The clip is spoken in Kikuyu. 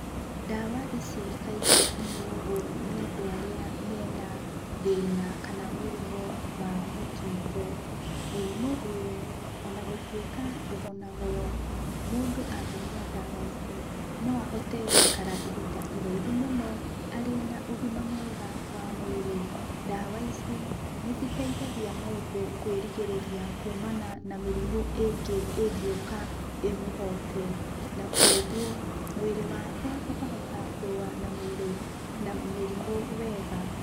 Ndawa ici kaingĩ inyuagwo nĩ andũ arĩa mena thĩna kana mũrimũ wa mũkingo. Mũrimũ ũyũ, ona gũtuĩka ndũhonagwo, mũndũ angĩnyua ndawa ici, no ahote gũikara ihinda iraihu mũno, arĩ na ũgima mwega wa mwĩrĩ. Ndawa ici nĩciteithagia mũndũ kwĩrigĩrĩria kũmana na mĩrimũ ĩngĩ ĩngĩũka ĩmũhote, na kuoguo mwĩrĩ wake ũkahota kũrũa na mĩrimũ wega.